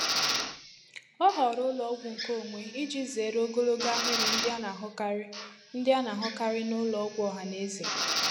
Ọ họọrọ ụlọọgwụ nkeonwe iji zere ogologo ahịrị ndị a na-ahụkarị ndị a na-ahụkarị n'ụlọ ọgwụ ọha na eze.